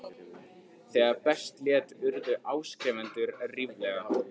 Þegar best lét urðu áskrifendur ríflega